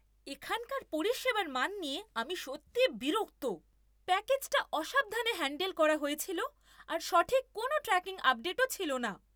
এখানকার পরিষেবার মান নিয়ে আমি সত্যিই বিরক্ত। প্যাকেজটা অসাবধানে হ্যাণ্ডেল করা হয়েছিল আর সঠিক কোনও ট্র্যাকিং আপডেটও ছিল না!